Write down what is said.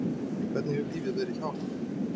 En hvernig hefur lífið verið hjá henni?